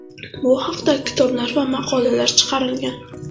Bu haqda kitoblar va maqolalar chiqarilgan.